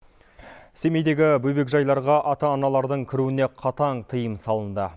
семейдегі бөбекжайларға ата аналардың кіруіне қатаң тиым салынды